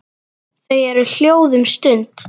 Þau eru hljóð um stund.